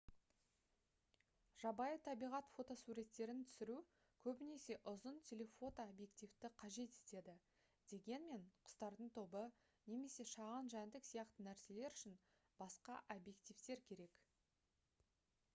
жабайы табиғат фотосуреттерін түсіру көбінесе ұзын телефото объективті қажет етеді дегенмен құстардың тобы немесе шағын жәндік сияқты нәрселер үшін басқа объективтер керек